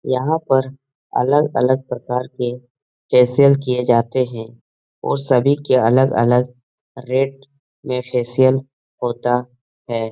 यहाँ पर अलग-अलग प्रकार के फेशियल किए जाते हैं और सभी के अलग-अलग रेट में फेशियल होता है।